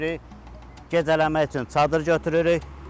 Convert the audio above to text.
Gecələmək üçün çadır götürürük.